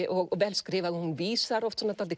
og vel skrifað og hún vísar oft dálítið